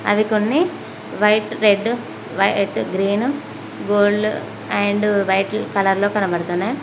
అవి కొన్ని white red white green gold and vital కలర్లో కనబడుతున్నాయి.